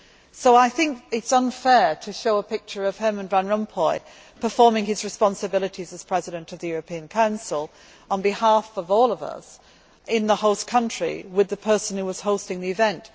So I think it is unfair to show a picture of Herman Van Rompuy performing his responsibilities as President of the European Council on behalf of all of us in the host country with the person who was hosting the event.